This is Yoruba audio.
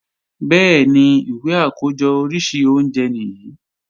Bẹ́ẹ̀ni, ìwé àkójọ oríṣi oúnjẹ nìyí